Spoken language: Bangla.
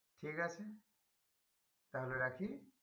ঠিক আছে তাহলে রাখি?